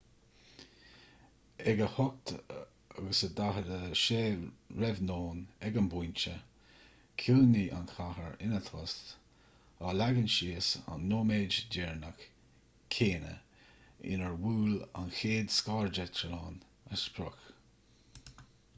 ag 8:46 r.n. ag an bpointe chiúnaigh an chathair ina tost á leagan síos an nóiméad díreach céanna inar bhuail an chéad scairdeitleán a sprioc